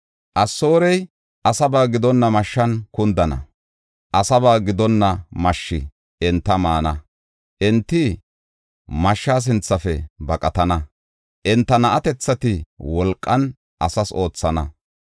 Asoorey asaba gidonna mashshan kundana; asaba gidonna mashshi enta maana. Enti mashsha sinthafe baqatana; enta na7atethati wolqan asas oothana.